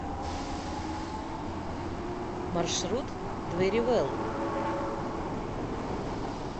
маршрут дверивелл